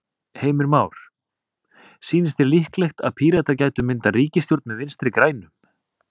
Heimir Már: Sýnist þér líklegt að Píratar gætu myndað ríkisstjórn með Vinstri-grænum?